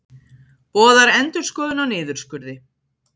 Boðar endurskoðun á niðurskurði